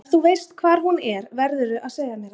Ef þú veist hvar hún er verðurðu að segja mér það.